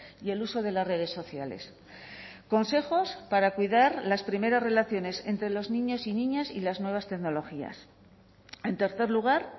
y el uso de las redes sociales consejos para cuidar las primeras relaciones entre los niños y niñas y las nuevas tecnologías en tercer lugar